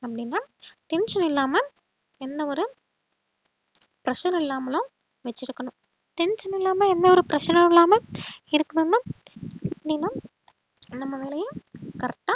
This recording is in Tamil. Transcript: அப்படின்னா tension இல்லாம எந்த ஒரு pressure உம் இல்லாமலும் வெச்சிருக்கணும் tension இல்லாம எந்த ஒரு pressure உம் இல்லாம இருக்கணும்னா நீங்க நம்ம வேலையை correct ஆ